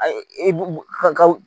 Ayi ka